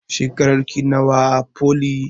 Shekarar ki nawa a foli?